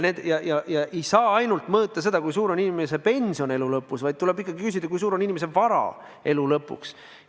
Ei saa ainult mõõta seda, kui suur on inimese pension elu lõpuks, vaid tuleb ikkagi küsida, kui suur on inimese vara elu lõpuks.